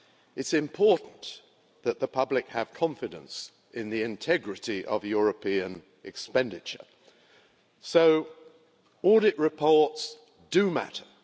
It's important that the public have confidence in the integrity of European expenditure, so audit reports do matter.